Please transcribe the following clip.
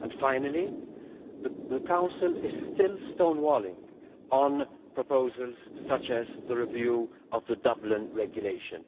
Finally, the Council is still stonewalling on proposals such as the review of the Dublin Regulation.